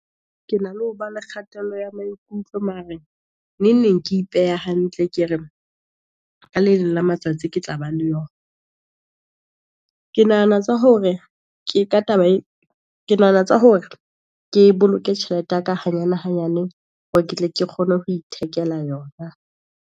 Ke na le ho ba le kgatello ya maikutlo mara neng neng ke ipeha hantle, ke re ka le leng la matsatsi ke tla ba le . Ke nahana tsa hore ke boloke tjhelete ya ka hanyane hanyane, hore ke tle ke kgone ho ithekela yona.